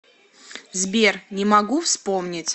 сбер не могу вспомнить